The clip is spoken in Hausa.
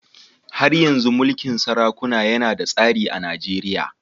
Har yanzu mulkin sarakuna yana da tasiri a Najeriya.